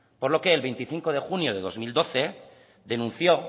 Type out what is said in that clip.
por lo que el veinticinco de junio del dos mil doce denunció